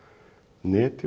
neti og